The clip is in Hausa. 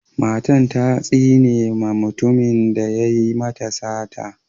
Matan ta tsine ma mutumin da ya yi mata sata.